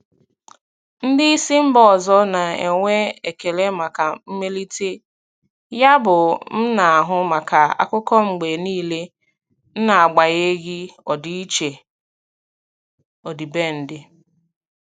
Ndị isi mba ọzọ na-enwe ekele maka mmelite, yabụ m na-ahụ maka akụkọ mgbe niile n'agbanyeghị ọdịiche ọdịbendị.